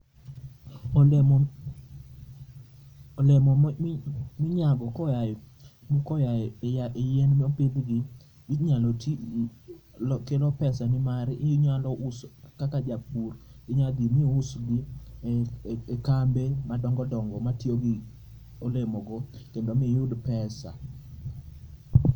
Olemo, olemo ma inyamo koae yien ma opidh gi inyalo tii, kelo pesa nimar inyalo uso kaka japur inyalo dhi mi usgi e kambe madongo dongo matiyo gi olemo go kendo miyud pesa